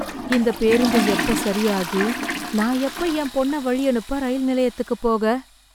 இந்த பேருந்து எப்ப சரியாகி நான் எப்ப என் பொண்ண வழியனுப்ப ரயில் நிலையத்துக்குப் போக?